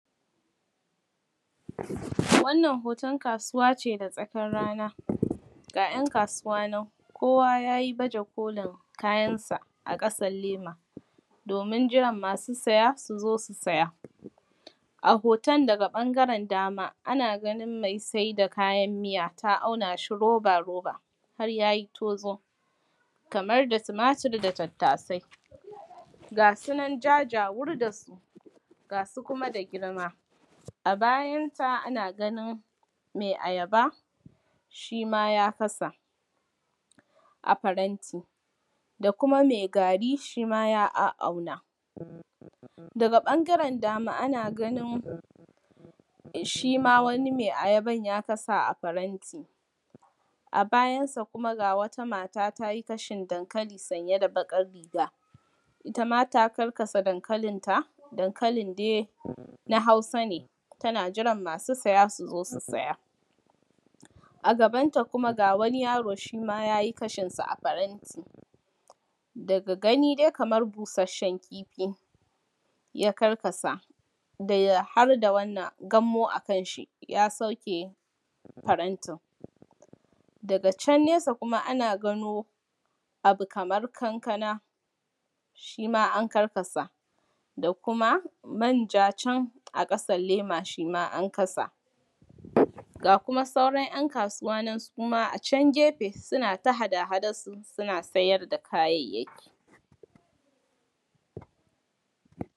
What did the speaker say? Wannan hoton kasuwa ce da tsakar rana, ga ‘yan kasuwa nan kowa yayi baja kolin kayansa a ƙasan lema. Domin jiran masu saya su zo su saya, a hoton da daga ɓangaren dama, ana ganin mai sai da kayan miya ta auna shi roba-roba har ya yi tozo. Kamar da tumatur da tattasai. Gasu an jajawur da su, gasu kuma da girma, a bayansa ana ganin mai ayaba, shi ma ya kasa a faranti. Da kuma mai gari shi ma ya a’auna. Daga ɓangaren dama ana ganin, shi ma wani mai ayaban ya kasa a faranti, a bayansa kuma ga wata mata ta yi kashin dankali sanye da baƙar riga, ita ma ta karkasa dankalin ta. Dankalin dai na Hausa ne. tana jiran masu saya su zo su saya. A gaban ta kuma shi ma ga waniyaro yay i kashin sa a faranti, daga gani dai kamar bushasshen kifi ne ya karkasa, da ya har da wannan gammo a kan shi ya sauke farantin. Daga can nesa kuma ana gano abu kamar kankana shi ma an karkasa da kuma manja can a ƙasar lema shi ma an kasa. Ga kuma sauran ‘yan kasuwa su ma a can gefe, suna ta hada-hadar su suna sayar da kayayyaki.